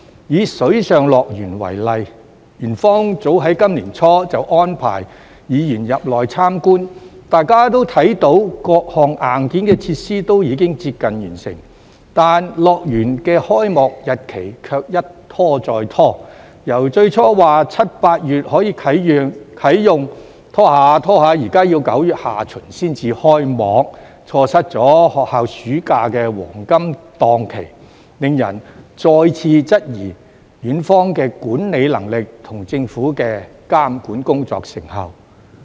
以水上樂園為例，園方早於今年年初安排議員入內參觀，大家也看到各項硬件設施都已經接近完成，但樂園的開幕日期卻一拖再拖，由最初說7月、8月可啟用，一直拖延至現在要9月下旬才開幕，錯失學校暑假的黃金檔期，令人再次質疑園方的管理能力和政府監管工作的成效。